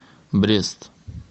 брест